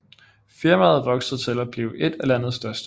Firmaet voksede til at blive et af landets største